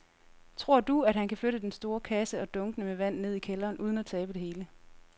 Tror du, at han kan flytte den store kasse og dunkene med vand ned i kælderen uden at tabe det hele?